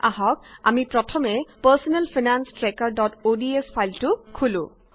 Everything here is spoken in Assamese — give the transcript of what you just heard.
আহক আমি প্ৰথমে পাৰ্ছনেল ফাইনান্স ট্ৰেকাৰods ফাইলটো খোলো